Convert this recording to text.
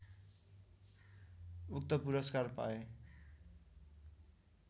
उक्त पुरस्कार पाए